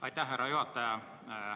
Aitäh, härra juhataja!